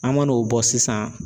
An ma n'o bɔ sisan.